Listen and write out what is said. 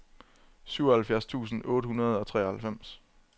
syvoghalvfjerds tusind otte hundrede og treoghalvfems